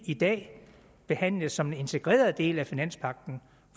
i dag behandles som en integreret del af finanspagten